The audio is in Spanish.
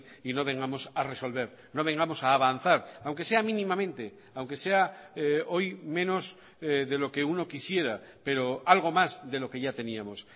y no vengamos a resolver no vengamos a avanzar aunque sea mínimamente aunque sea hoy menos de lo que uno quisiera pero algo más de lo que ya teníamos